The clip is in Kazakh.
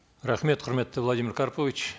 рахмет құрметті владимир карпович